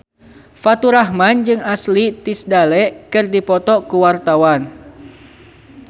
Faturrahman jeung Ashley Tisdale keur dipoto ku wartawan